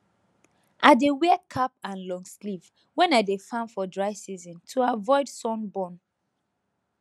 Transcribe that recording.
i dey wear cap and long sleeve when i dey farm for dry season to avoid sun burn